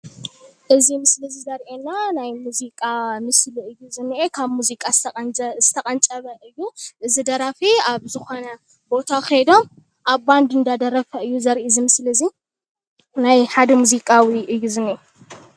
እዚ ምስሊ እዚ ዘርእየና ናይ ሙዚቃ ምስሊ እዩ ካብ ሙዚቃ ዝተቀንጨበ እዩ። እዚ ደራፊ ኣብ ዝኮነ ቦታ ከይዶም ኣብ ባንዲ ዳደረፈ እዩ ዘርኢ እዚ ምስሊ እዚ ናይ ሓደ ሙዚቃዊ እዩ ዝኒሀ።